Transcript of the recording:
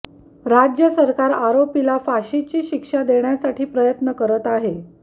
राज्य सरकार आरोपीला फाशीची शिक्षा देण्यासाठी प्रयत्न करत आहे